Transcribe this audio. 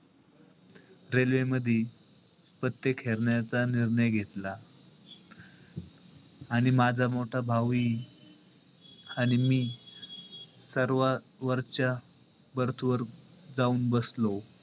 Railway मध्ये पत्ते खेळण्याचा निर्णय घेतला. आणि माझा मोठा भाऊही आणि मी सर्वात वरच्या berth वर जाऊन बसलो.